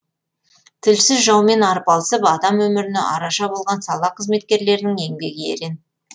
тілсіз жаумен арпалысып адам өміріне араша болған сала қызметкерлерінің еңбегі ерен